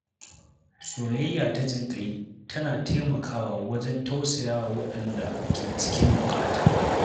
Soyayya ta jin ƙai tana taimaka wa wajen tausaya wa waɗanda ke cikin buƙata.